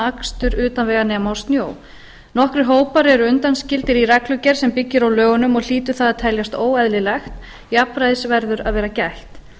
akstur utan vega nema á snjó nokkrir hópar eru undanskildir í reglugerð sem byggir á lögunum og hlýtur það að teljast óeðlilegt jafnræðis verður að vera gætt